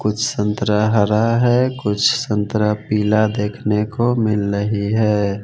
कुछ संतरा हरा है कुछ संतरा पीला देखने को मिल रही है।